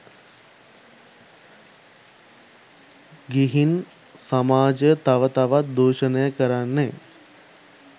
ගිහින් සමාජය තව තවත් දූෂණය කරන්නේ